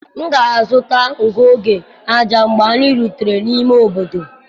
M ga-azụta ngụ oge ájá mgbe anyị rutere n'ime obodo.